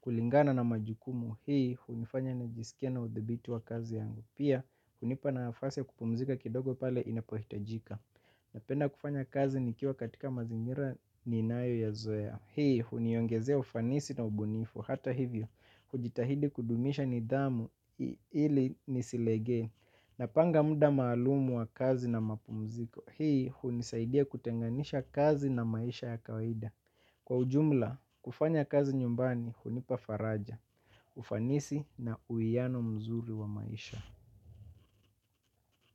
kulingana na majukumu. Hii hunifanya nijisikie na udhibiti wa kazi yangu. Pia hunipa nafasi ya kupumzika kidogo pale inapohitajika. Napenda kufanya kazi nikiwa katika mazingira ninayo ya zoea. Hii huniongezea ufanisi na ubunifu. Hata hivyo hujitahidi kudumisha nidhamu ili nisilegee. Napanga muda maalum wa kazi na mapumziko. Hii hunisaidia kutenganisha kazi na maisha ya kawaida. Kwa ujumla, kufanya kazi nyumbani, hunipa faraja. Ufanisi na uwiano mzuri wa maisha.